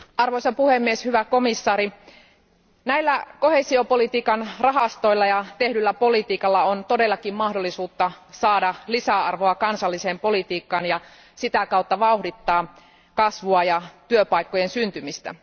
Arvoisa puhemies, arvoisa komission jäsen, näillä koheesiopolitiikan rahastoilla ja tehdyllä politiikalla on todellakin mahdollisuutta saada lisäarvoa kansalliseen politiikkaan ja sitä kautta vauhdittaa kasvua ja työpaikkojen syntymistä.